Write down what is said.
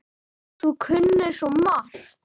Þú kunnir svo margt.